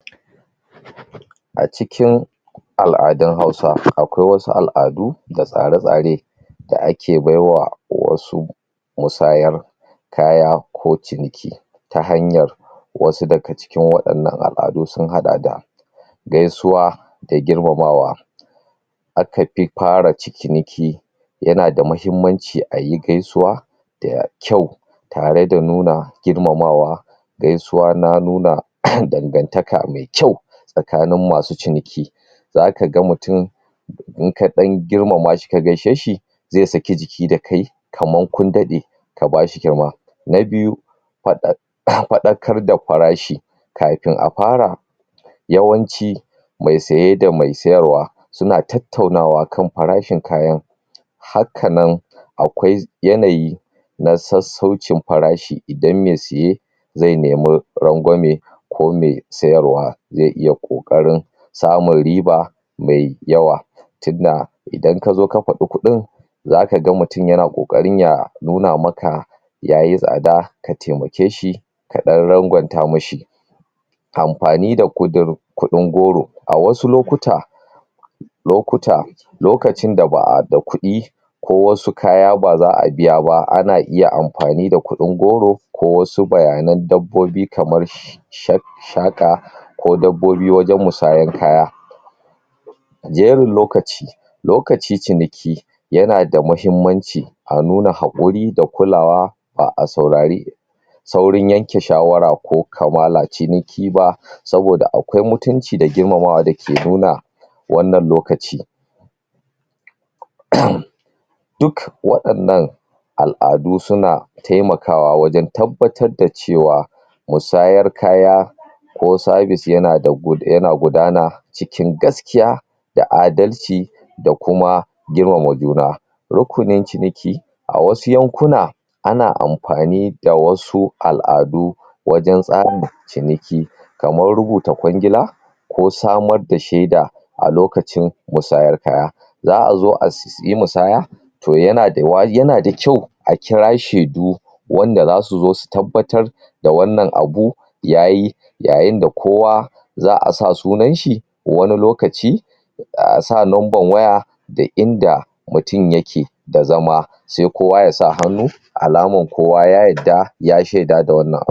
a cikin al'adun hausa akwai wasu al'adu da wasu tsare tsare da ake baiwa wasu misayar kaya ko ciniki ta hanyar wasu daga cikin wadannan al'adu sun hada da gaisuwa da girmamawa akafi fara ciniki yana da mahimmanci ayi gaisuwa da kyau tare da nuna girmamawa gaisuwa na nuna dangantaka mai kyau tsakanin masu ciniki zakaga mutum inka dan girmama shika gaishe shi zai saki jiki dashi kamar kun dade ka bashi girma na biyu fadakar da farashi kafin a fara yawanci mai saye da mai sayarwa suna tattaunawa kan farashin kayan haka nan akwai yanayi na sassaucin farashi idan mai saye zai nemi rangwame ko mai sayarwa zai kokarin samun riba mai yawa tinda idan kazo ka fadi kudin zaka ga mutum yana kokarin ya nuna maka yayi tsada ka taimake shi kadan rangwanta mashi amfani da kudin goro wasu lokuta lokuta lokacin da ba'a da kudi ko wasu kaya baza'a biya ba ana iya amfani da kudin goro ko wasu bayanan dabbobi kamar shaka ko dabbobi wajen misayar kaya jerin lokaci lokacin ciniki yana da mahimmanci a nuna hakuri da kulawa ba a saurari saurin yanke shawara ko kamala ciniki ba saboda akwai mutunci da girmamawa dake nuna wannan lokaci? duk wadannan al'adu suna taimakawa wajen tabbatar da cewa musayar kaya ko sabis na yana gudana cikin gaskiya da adalci da kuma girmama juna rukunin ciniki a wasu yankuna ana amfanida wasu al'adu wajen tsarin ciniki kamar rubuta kwangila ko samar da sheda a lokacin musayar kaya za'azo ayi musayar kaya to yana daa waji yana da kyau a kira shedu wanda zasu zo su tabbatar da wannan abu yayi yayin da kowa za'a sa sunan shi wani lokaci asa numban waya da inda mtum yake da zama sai kowa yasa hannu alaman kowa ya yadda ya sheda da wannan abu